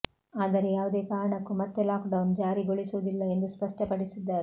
ಆದರೆ ಯಾವುದೇ ಕಾರಣಕ್ಕೂ ಮತ್ತೆ ಲಾಕ್ ಡೌನ್ ಜಾರಿಗೊಳಿಸುವುದಿಲ್ಲ ಎಂದು ಸ್ಪಷ್ಟಪಡಿಸಿದ್ದಾರೆ